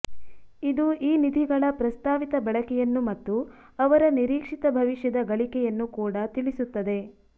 ಇದು ಈ ನಿಧಿಗಳ ಪ್ರಸ್ತಾವಿತ ಬಳಕೆಯನ್ನು ಮತ್ತು ಅವರ ನಿರೀಕ್ಷಿತ ಭವಿಷ್ಯದ ಗಳಿಕೆಯನ್ನು ಕೂಡಾ ತಿಳಿಸುತ್ತದೆ